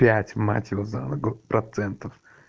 пять мать его за ногу процентов